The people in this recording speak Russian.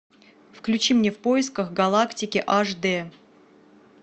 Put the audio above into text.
включи мне в поисках галактики аш дэ